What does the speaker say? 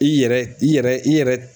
I yɛrɛ i yɛrɛ i yɛrɛ